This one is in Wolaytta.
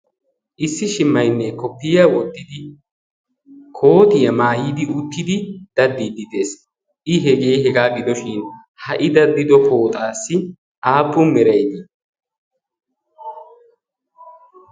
issi shimmainnee koppiya wotidi kootiyaa maayiidi uuttidi daddiiddi des i hegee hegaa gidoshin ha'i daddido pooxaassi aappun meraidii?